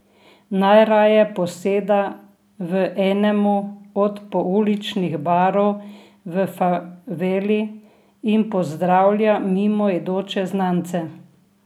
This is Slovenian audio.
Najraje poseda v enemu od pouličnih barov v faveli in pozdravlja mimoidoče znance.